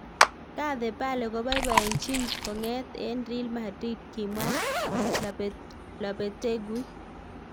"Gareth Bale koboiboiyenchin kong'et en Real Madrid," kimwa Lopetegui